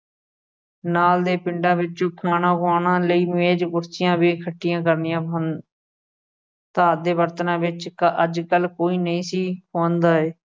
ਨਾਲ ਦੇ ਪਿੰਡਾਂ ਵਿੱਚ ਖਾਣਾ ਖੁਆਉਣ ਲਈ ਮੇਜ਼ ਕੁਰਸੀਆਂ ਵੀ ਇਕੱਠੀਆਂ ਕਰਨੀਆਂ ਸਨ ਦੇ ਬਰਤਨਾਂ 'ਚ ਕ ਅਹ ਅੱਜਕੱਲ ਕੋਈ ਨਹੀਂ ਸੀ ਖੁਆਉਂਦਾ ਏ।